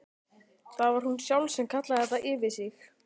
Það var hún sjálf sem kallaði þetta yfir sig.